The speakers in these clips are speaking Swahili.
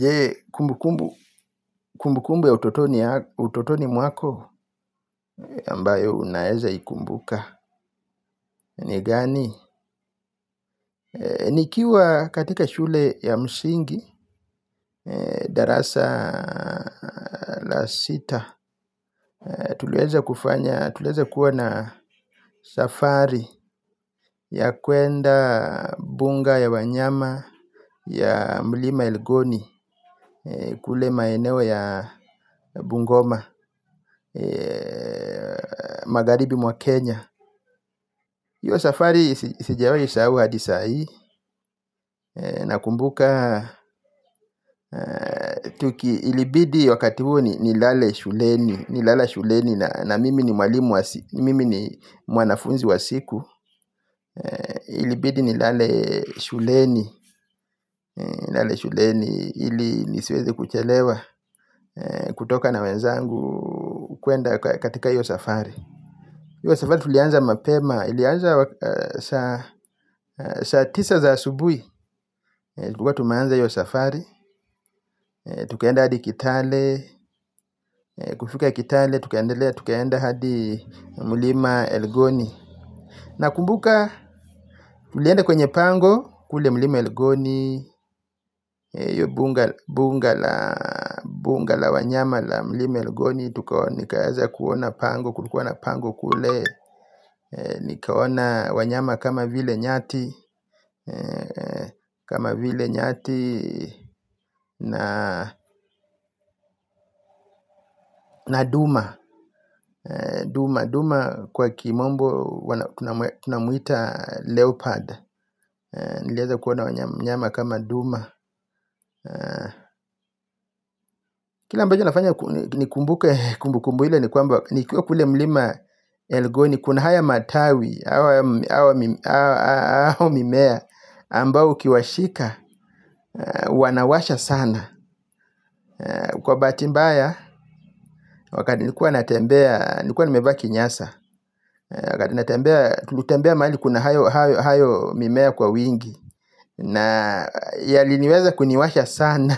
Je kumbu kumbu ya utotoni mwako ambayo unaweza ikumbuka ni gani? Nikiwa katika shule ya msingi, darasa la sita, tuliweza kufanya kuwa na safari ya kwenda buga ya wanyama ya mlima elgoni. Kule maeneo ya bungoma magharibi mwa kenya. Hi o safari sijiwahi sahau hadi saa hii. Nakumbuka, libidi wakati huo nilale shuleni. Nililala shuleni na mimi ni mwanafunzi wa siku. Ilibidi nilale shuleni ili nisiweze kuchelewa kutoka na wenzangu kwenda katika hi safari. Hio safari tulianza mapema, ilianza saa tisa za asubuhi. Tulikuwa tumeanza hio safari, tukaenda hadi kitale, kufika kitale, tukaendelea hadi mlima elgoni. Nakumbuka, tulienda kwenye pango kule mlima elgoni, ya buga la wanyama la mlima elgoni. Nikaweza kuona pango, kulikuwa na pango kule, nikaona wanyama kama vile nyati. Kama vile nyati na duma. Duma kwa kimombo, tunamuita leopard. Nilewaza kuona wanyama kama duma. Kila ambacho kinafanya ni kumbuke kumbu kumbu ile ni kwamba, nikiwa kule mlima elgoni kuna haya matawi au mimea ambayo ukiyashika wanawasha sana. Kwa bahati mbaya wakati nilikuwa natembea niliikuwa nimeva kinyasa. Wakati natembea tulitembea mahali kuna hayo mimea kwa wingi. Na yaliniweza kuniwasha sana.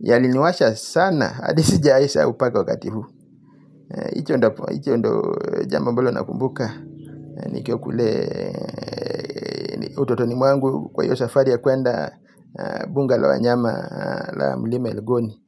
Yaliniwasha sana hadi sijawahi sahau mpaka wakati huu. Hicho ndio jambo ambalo nakumbuka. Nikiwa kule utotoni mwangu kwa hio safari ya kwenda. Buga la wanyama la mlima Elgoni.